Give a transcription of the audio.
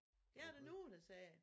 Det er der nogle der siger